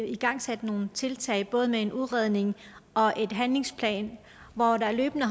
igangsat nogle tiltag både med en udredning og en handlingsplan hvor der løbende